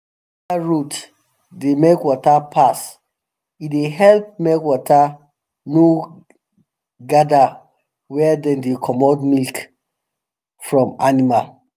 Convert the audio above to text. better road dey make water pass e dey help make water no gada where dem dey comot milk from animal